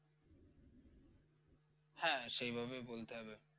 হ্যাঁ সেই ভাবেই বলতে হবে।